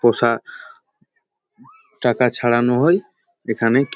পোষা টাকা ছাড়ানো হয় এখানে ক ।